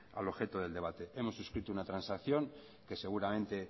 al objeto del debate hemos suscrito una transacción que seguramente